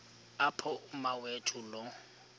apho umawethu lo